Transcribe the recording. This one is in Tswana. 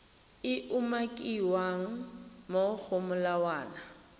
e umakiwang mo go molawana